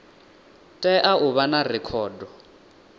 tea u vha na rekhodo